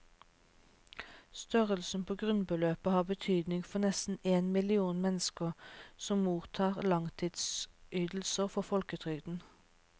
Størrelsen på grunnbeløpet har betydning for nesten én million mennesker som mottar langtidsydelser fra folketrygden.